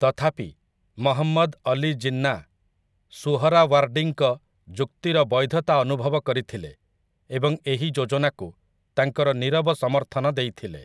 ତଥାପି, ମହମ୍ମଦ ଅଲି ଜିନ୍ନା ସୁହରାୱାର୍ଡ଼ୀଙ୍କ ଯୁକ୍ତିର ବୈଧତା ଅନୁଭବ କରିଥିଲେ ଏବଂ ଏହି ଯୋଜନାକୁ ତାଙ୍କର ନିରବ ସମର୍ଥନ ଦେଇଥିଲେ ।